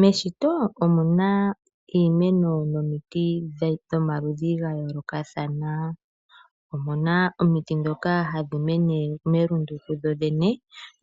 Meshito omuna iimeno nomiti dhomaludhi ga yoolokathana. Omuna omiti dhoka hadhi mene melundu kudhodhene